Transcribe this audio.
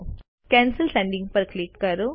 cancel sending પર click કરો